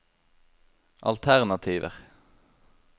alternativer